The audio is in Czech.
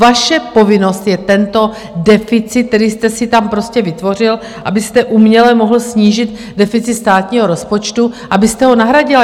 Vaše povinnost je tento deficit, který jste si tam prostě vytvořil, abyste uměle mohl snížit deficit státního rozpočtu, abyste ho nahradil.